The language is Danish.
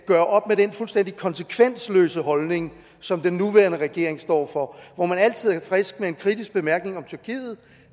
gøre op med den fuldstændig konsekvensløse holdning som den nuværende regering står for hvor man altid er frisk med en kritisk bemærkning om tyrkiet